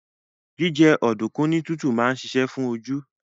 Jíjẹ ọ̀dùnkún ní tútù máa ń ṣiṣẹ́ fún oju